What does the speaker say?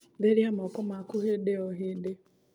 Therĩa moko maku hĩndĩ o hĩndĩ